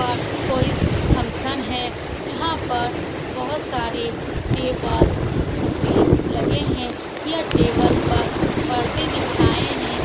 पर कोई फंक्शन है यहाँ पर बहुत सारे टेबल कुर्सी लगे हैं यह टेबल पर पर्दे बिछाये हैं।